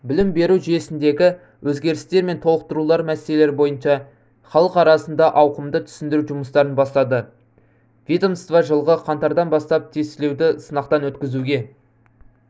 білім беру жүйесіндегі өзгерістер мен толықтырулар мәселелері бойынша халық арасында ауқымды түсіндіру жұмыстарын бастады ведомство жылғы қаңтардан бастап тестілеуді сынақтан өткізуге